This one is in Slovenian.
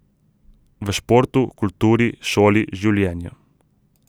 V športu, kulturi, šoli, življenju ...